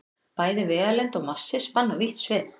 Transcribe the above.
Bæði vegalengd og massi spanna vítt svið.